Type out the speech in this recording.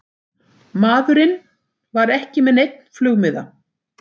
Maðurinn var ekki með neinn flugmiða